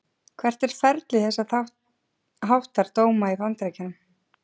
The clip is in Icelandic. Hvert er ferli þess háttar dóma í Bandaríkjunum?